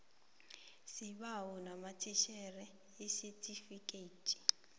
sibawa unamathisele isitifikedi